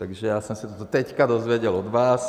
Takže já jsem se to teď dozvěděl od vás.